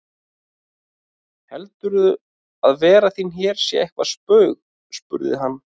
Heldurðu að vera þín hér sé eitthvert spaug spurði hann.